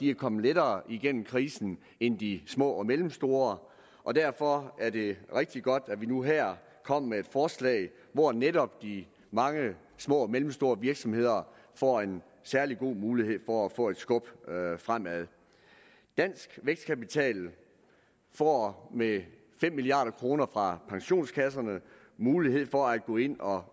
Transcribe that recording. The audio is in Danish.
er kommet lettere igennem krisen end de små og mellemstore og derfor er det rigtig godt at vi nu her kommer med et forslag hvor netop de mange små og mellemstore virksomheder får en særlig god mulighed for at få et skub fremad dansk vækstkapital får med fem milliard kroner fra pensionskasserne mulighed for at gå ind og